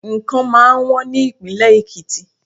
Nǹkan máa wọ́n ní ìpínlè Èkìtì.